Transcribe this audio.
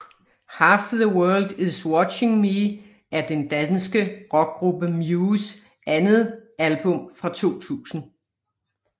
Half The World is Watching Me er den danske rockgruppe Mews andet album fra 2000